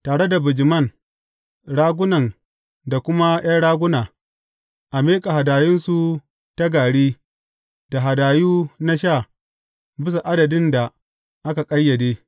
Tare da bijiman, ragunan da kuma ’yan raguna, a miƙa hadayunsu ta gari da hadayu na sha bisa adadin da a ƙayyade.